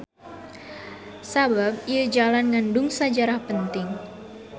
Sabab ieu jalan ngandung sajarah penting.